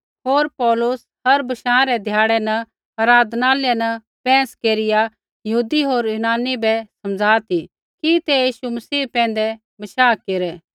होर पौलुस हर बशाँ रै ध्याड़ा न आराधनालय न बैंहस केरिया यहूदी होर यूनानी बै समझा ती कि तै यीशु मसीह पैंधै बशाह केरै